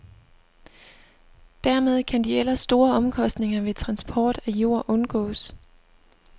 Dermed kan de ellers store omkostninger ved transport af jord undgås.